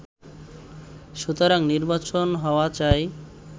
সুতরাং নির্বাচন হওয়া চাই